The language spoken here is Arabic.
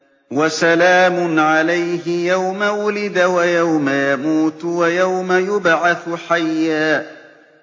وَسَلَامٌ عَلَيْهِ يَوْمَ وُلِدَ وَيَوْمَ يَمُوتُ وَيَوْمَ يُبْعَثُ حَيًّا